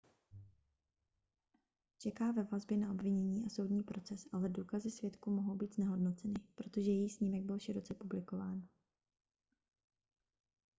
čeká ve vazbě na obvinění a soudní proces ale důkazy svědků mohou být znehodnoceny protože její snímek byl široce publikován